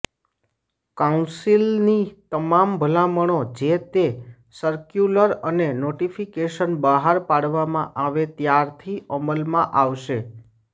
કાઉન્સિલની તમામ ભલામણો જે તે સરક્યુલર અને નોટિફિકેશન બહાર પાડવામાં આવે ત્યારથી અમલમાં આવશે